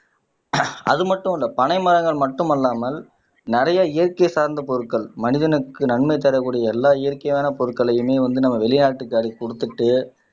அது மட்டும் இல்ல பனைமரங்கள் மட்டுமல்லாமல் நிறைய இயற்கை சார்ந்த பொருட்கள் மனிதனுக்கு நன்மை தரக்கூடிய எல்லா இயற்கையான பொருட்களையுமே வந்து நம்ம வெளிநாட்டுக்கு அள்ளி கொடுத்துட்டு